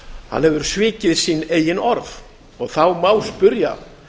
hann hefur svikið sín eigin orð og þá má spyrja